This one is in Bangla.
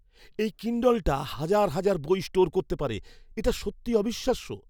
এই কিণ্ডলটা হাজার হাজার বই স্টোর করতে পারে। এটা সত্যি অবিশ্বাস্য!